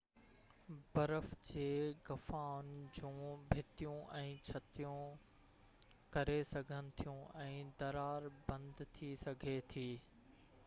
برف جي غفائن جون ڀتيون ۽ ڇتون ڪري سگهن ٿيون ۽ درار بند ٿي سگهي ٿي